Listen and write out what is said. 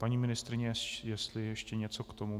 Paní ministryně, jestli ještě něco k tomu...